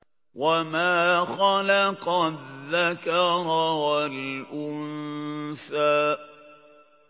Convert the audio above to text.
وَمَا خَلَقَ الذَّكَرَ وَالْأُنثَىٰ